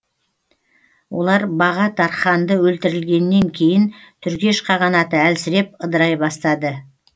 олар баға тарханды өлтірілгеннен кейін түргеш қағанаты әлсіреп ыдырай бастады